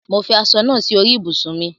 Mo fi aṣọ naa si orí ibùsùn mi